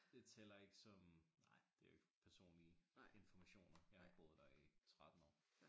Det tæller ikke som nej det jo ikke personlige informationer jeg har ikke boet der i 13 år